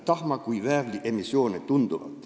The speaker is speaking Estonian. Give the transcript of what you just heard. ... tahma kui ka väävli emissiooni.